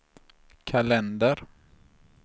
kalender